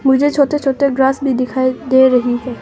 मुझे छोटे छोटे ग्रास भी दिखाई दे रही है।